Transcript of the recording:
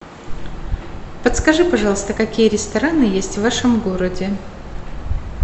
подскажи пожалуйста какие рестораны есть в вашем городе